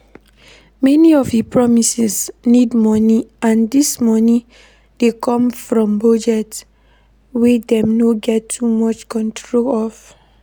Many of di promises need money and this money dey come from budget wey dem no get too much control of